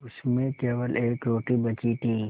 उसमें केवल एक रोटी बची थी